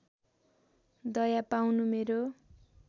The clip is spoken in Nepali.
दया पाउनु मेरो